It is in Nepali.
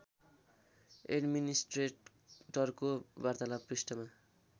एड्मिनिस्ट्रेटरको वार्तालाप पृष्ठमा